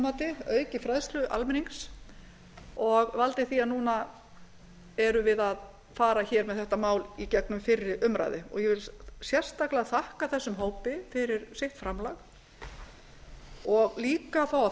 mati aukið fræðslu almennings og valdið því að núna erum við að fara hér með þetta mál í gegnum fyrri umræðu ég vil sérstaklega þakka þessum hópi fyrir sitt framlag og auka